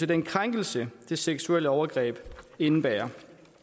den krænkelse det seksuelle overgreb indebærer